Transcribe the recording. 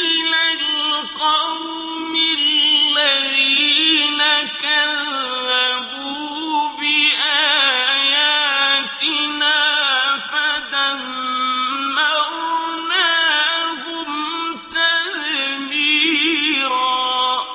إِلَى الْقَوْمِ الَّذِينَ كَذَّبُوا بِآيَاتِنَا فَدَمَّرْنَاهُمْ تَدْمِيرًا